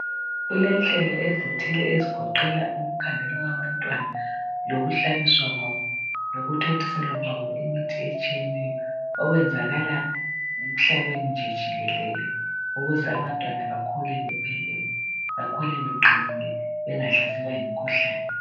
Kulenhlelo ezithile ezigoqela ukukhangelwa kwabantwana lokuhlabiswa kwabo ,lokuthontiselwa kwabo imithi etshiyeneyo okwenzakala emhlabeni nje jikelele ukuze abantwana bakhule bephilile ,bakhule beqinile bengahlaselwa yimikhuhlane.